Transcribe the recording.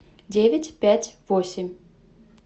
девять пять восемь